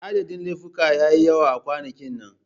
Adadin laifuka ya yi yawa a kwanakin nan.